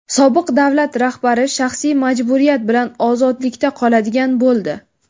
Sobiq davlat rahbari shaxsiy majburiyat bilan ozodlikda qoladigan bo‘ldi.